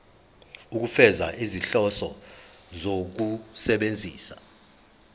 ukufeza izinhloso zokusebenzisa